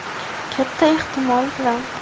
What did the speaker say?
Katta ehtimol bilan.